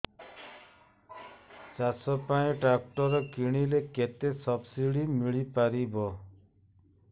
ଚାଷ ପାଇଁ ଟ୍ରାକ୍ଟର କିଣିଲେ କେତେ ସବ୍ସିଡି ମିଳିପାରିବ